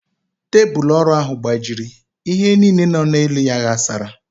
Tebulu ọrụ ahụ gbajiri, ihe niile nọ n'elu ya ghasara